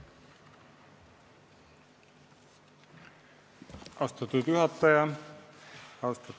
Austatud juhataja!